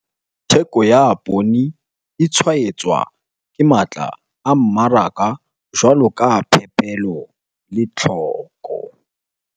Theko ya poone e tshwaetswa ke matla a mmaraka jwalo ka phepelo le tlhoko